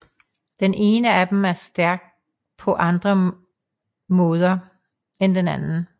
Den ene af dem er stærk på andre måde end den anden